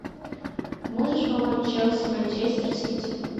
можешь помочь челси манчестер сити